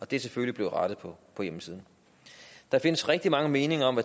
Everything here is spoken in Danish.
det er selvfølgelig blevet rettet på hjemmesiden der findes rigtig mange meninger om